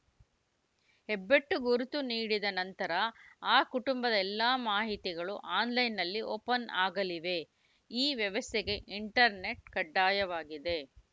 ಹೆಬ್ಬೆಟ್ಟು ಗುರುತು ನೀಡಿದ ನಂತರ ಆ ಕುಟಂಬದ ಎಲ್ಲ ಮಾಹಿತಿಗಳು ಆನ್‌ಲೈನ್‌ನಲ್ಲಿ ಓಪನ್‌ ಆಗಲಿವೆ ಈ ವ್ಯವಸ್ಥೆಗೆ ಇಂಟರ್‌ನೆಟ್‌ ಕಡ್ಡಾಯವಾಗಿದೆ